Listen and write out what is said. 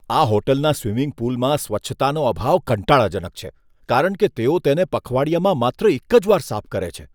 આ હોટલના સ્વિમિંગ પૂલમાં સ્વચ્છતાનો અભાવ કંટાળાજનક છે, કારણ કે તેઓ તેને પખવાડિયામાં માત્ર એક જ વાર સાફ કરે છે.